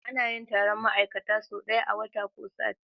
Anayin Taron ma'ikata so daya a wata ko sati